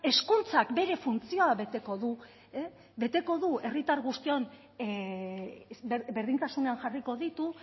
hezkuntzak bere funtzioa beteko du beteko du herritar guztion berdintasunean jarriko ditu